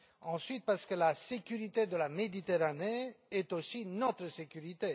Ensuite, parce que la sécurité de la Méditerranée est aussi notre sécurité.